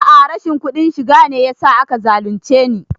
A'a rashin kuɗin shiga ne yasa aka zalunce ni